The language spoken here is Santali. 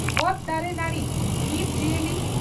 ᱚᱛ ᱫᱟᱨᱮ ᱱᱟᱹᱲᱤ ᱡᱤᱵᱽ ᱡᱤᱭᱟᱹᱞᱤ